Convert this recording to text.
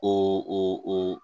O